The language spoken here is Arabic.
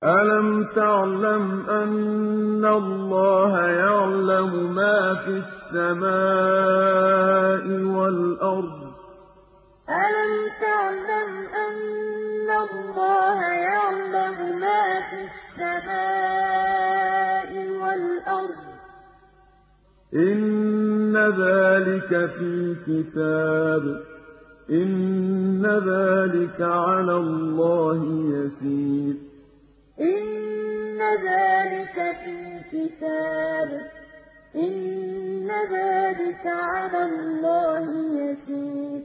أَلَمْ تَعْلَمْ أَنَّ اللَّهَ يَعْلَمُ مَا فِي السَّمَاءِ وَالْأَرْضِ ۗ إِنَّ ذَٰلِكَ فِي كِتَابٍ ۚ إِنَّ ذَٰلِكَ عَلَى اللَّهِ يَسِيرٌ أَلَمْ تَعْلَمْ أَنَّ اللَّهَ يَعْلَمُ مَا فِي السَّمَاءِ وَالْأَرْضِ ۗ إِنَّ ذَٰلِكَ فِي كِتَابٍ ۚ إِنَّ ذَٰلِكَ عَلَى اللَّهِ يَسِيرٌ